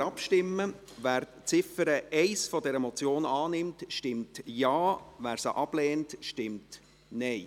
Wer die Ziffer 1 der Motion annimmt, stimmt Ja, wer dies ablehnt, stimmt Nein.